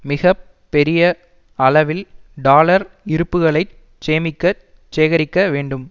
மிக பெரிய அளவில் டாலர் இருப்புக்களைச் சேமிக்க சேகரிக்க வேண்டும்